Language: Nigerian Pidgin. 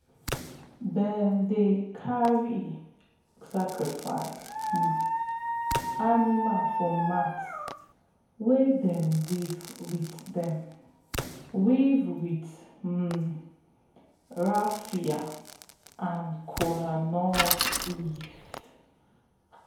them dey carry sacrifice um animal for mat wey them weave with them weave with um raffia and kola nut leaf.